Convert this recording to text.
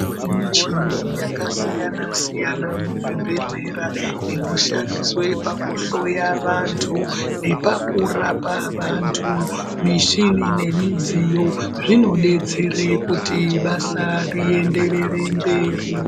Kune muchini yakasiyana siyana muzvibhehlera inoshandiswe pakuhloya vantu nepa kurapa vantu mishini nemidziyo zvinodetsera kuti basa rienderere mberi .